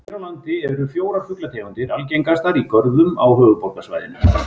Hér á landi eru fjórar fuglategundir algengastar í görðum á höfuðborgarsvæðinu.